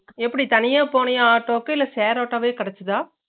எப்புடி தனிய போனியா ஆட்டோக்கு இல்ல share ஆட்டோவே கெடச்சுதா